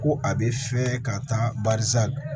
Ko a bɛ fɛ ka taa barisa